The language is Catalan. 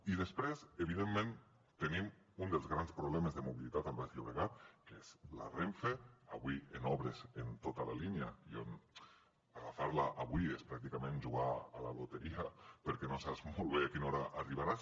i després evidentment tenim un dels grans problemes de mobilitat al baix llobregat que és la renfe avui en obres en tota la línia i on agafar la avui és pràcticament jugar a la loteria perquè no saps molt bé a quina hora arribaràs